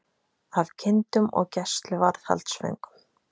Af kindum og gæsluvarðhaldsföngum